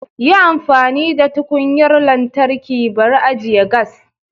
Yi amfani da tukunyar lantarki bari ajiye gas